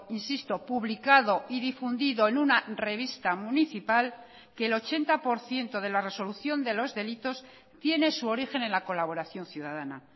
insisto publicado y difundido en una revista municipal que el ochenta por ciento de la resolución de los delitos tiene su origen en la colaboración ciudadana